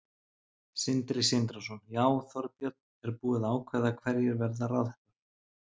Sindri Sindrason: Já, Þorbjörn, er búið að ákveða hverjir verða ráðherrar?